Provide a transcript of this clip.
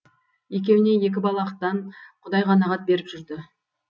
екеуіне екі балақтан құдай қанағат беріп жүрді